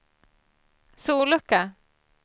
sollucka